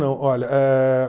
Não olha eh